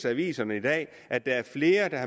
aviserne at at der er flere der